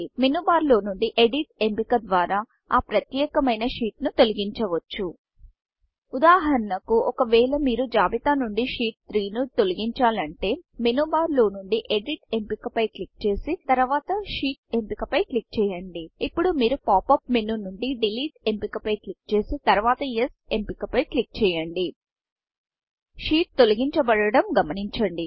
మేను bar menu bar లో నుండి edit ఎంపిక ద్వారా ఆ ప్రత్యేకమైన షీట్ షీట్ను తొలగించవచ్చు ఉదాహరణకు ఒకవేళ మీరు జాబితా నుండి షీట్ 3 షీట్ 3ను తొలగించాలంటే మేను బార్ మేను బార్ లో నుండి ఎడిట్ ఎడిట్ఎంపిక పై క్లిక్ చేసి తర్వాతSheetషీట్ ఎంపిక పై క్లిక్ చేయండి ఇప్పుడు మీరు pop up menu pop up menu నుండి డిలీట్ డెలీట్ ఎంపిక పై క్లిక్చేసి తర్వాత యెస్ ఎస్ఎంపిక పై క్లిక్ చేయండి షీట్ తొలగించాబడడం గమనించండి